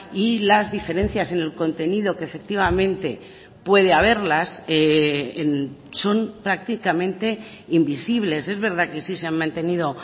y las diferencias en el contenido que efectivamente puede haberlas son prácticamente invisibles es verdad que sí se han mantenido